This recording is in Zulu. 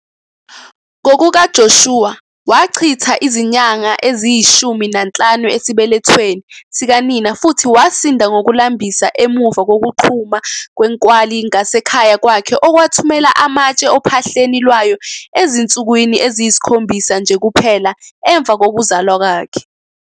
NgokukaJoshua, wachitha izinyanga eziyi-15 esibelethweni sikanina futhi wasinda ngokulambisa emuva kokuqhuma kwenkwali ngasekhaya kwakhe okwathumela amatshe ophahleni lwayo ezinsukwini eziyisikhombisa nje kuphela emva kokuzalwa kwakhe.